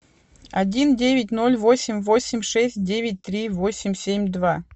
один девять ноль восемь восемь шесть девять три восемь семь два